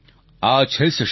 આ છે સશક્તિ